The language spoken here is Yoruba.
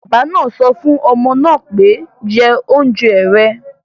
Bàbá náà sọ fún ọmọ náà pé, 'jẹ oúnjẹ rẹ̀'